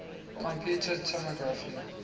computed tomography